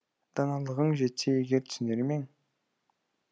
даналығың жетсе егер түсінер мең